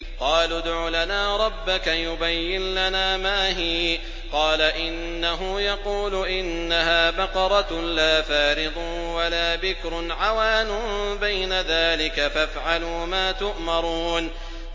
قَالُوا ادْعُ لَنَا رَبَّكَ يُبَيِّن لَّنَا مَا هِيَ ۚ قَالَ إِنَّهُ يَقُولُ إِنَّهَا بَقَرَةٌ لَّا فَارِضٌ وَلَا بِكْرٌ عَوَانٌ بَيْنَ ذَٰلِكَ ۖ فَافْعَلُوا مَا تُؤْمَرُونَ